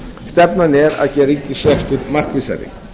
stefnan er að gera ríkisrekstur markvissari